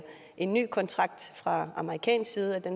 en ny kontrakt fra amerikansk side